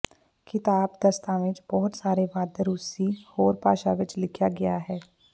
ਕਿਤਾਬ ਦਸਤਾਵੇਜ਼ ਬਹੁਤ ਸਾਰੇ ਵੱਧ ਰੂਸੀ ਹੋਰ ਭਾਸ਼ਾ ਵਿੱਚ ਲਿਖਿਆ ਗਿਆ ਹੈ